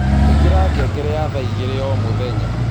Ìkĩra ngengere ya thaaĩgĩrĩ o mũthenya